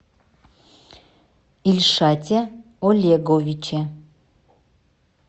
ильшате олеговиче